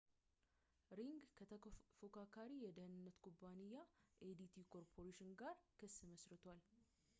ሪንግ ከተፎካካሪ የደህንነት ኩባንያም adt ኮርፖሬሽን ጋር ክስ መስርቷል